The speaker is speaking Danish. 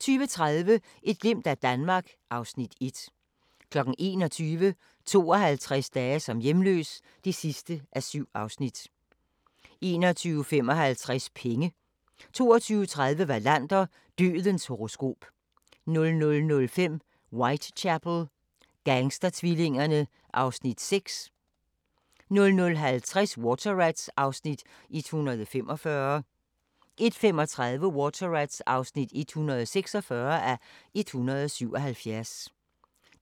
20:30: Et glimt af Danmark (Afs. 1) 21:00: 52 dage som hjemløs (7:7) 21:55: Penge 22:30: Wallander: Dødens horoskop 00:05: Whitechapel: Gangstertvillingerne (Afs. 6) 00:50: Water Rats (145:177) 01:35: Water Rats (146:177)